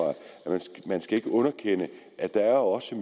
man ikke skal underkende at der jo også